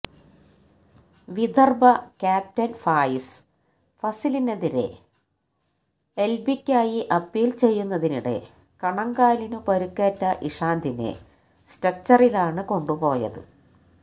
Vidarbha captain Faiz ഫസലിനെതിരെ എല്ബിക്കായി appeal ചെയ്യുന്നതിനിടെ കണങ്കാലിനു പരുക്കേറ്റ ഇഷാന്തിനെ സ്ട്രെച്ചറിലാണ് കൊണ്ടുപോയത്